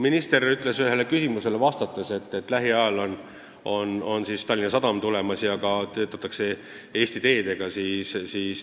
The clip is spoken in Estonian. Minister ütles ühele küsimusele vastates, et lähiajal on Tallinna Sadam börsile tulemas ja kavatsetakse müüa ka osa riigi osalusest Eesti Teedes.